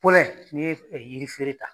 n'i ye yiri feere ta